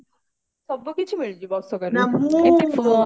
ସବୁ କିଛି ମିଳିଯିବ ଅଶୋକାରୁ